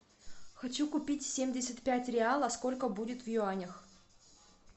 хочу купить семьдесят пять реала сколько будет в юанях